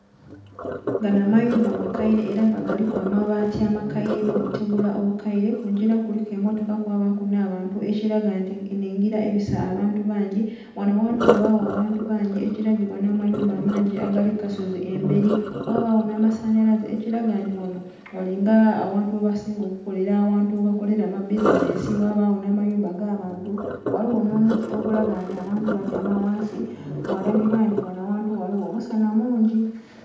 Ganho mayumba makaire era nga galiku amabati amakaire nho butegula obukaire kungira kuliku emmotoka kwabaku nha bantu ekilaga nti eno engila ebisa abantu bangi. Ghanho aghantu ghabagho abantu bangi ekilagebwa nhamayumba amangi agali kukasozi emberi ghabagho nha masanhalaze ekilaga nti ghanho ghali nga aghantu ghebasinga okukolera era abantu ghebasinga okukolera ama bizinhensi ghabagho nha mayumba aga bantu ghaligho nho muti ogulaga nti abantu batyama ghansi ghalagibwa nti ghanho aghantu ghaligho omusansa mungi